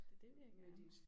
Det det vil jeg gerne